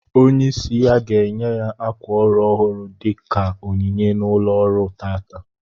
Onye isi ya ga-enye ya ákwà órù ọhụrụ dika onyinye na ụlo ọrụ taa